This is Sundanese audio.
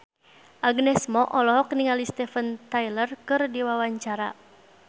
Agnes Mo olohok ningali Steven Tyler keur diwawancara